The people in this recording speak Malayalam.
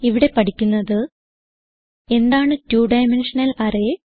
ഇവിടെ പഠിക്കുന്നത് എന്താണ് 2ഡൈമെൻഷണൽ അറേ